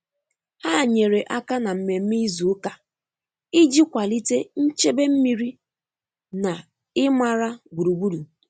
Ha nyere aka na mmemme izu ụka iji kwalite nchebe mmiri na ịmara gburugburu.